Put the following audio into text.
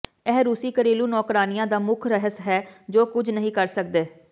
ਇਹ ਰੂਸੀ ਘਰੇਲੂ ਨੌਕਰਾਣੀਆਂ ਦਾ ਮੁੱਖ ਰਹੱਸ ਹੈ ਜੋ ਕੁਝ ਨਹੀਂ ਕਰ ਸਕਦੇ